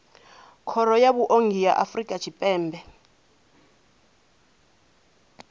khoro ya vhuongi ya afrika tshipembe